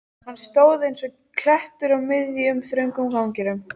Hann stóð eins og klettur á miðjum, þröngum ganginum.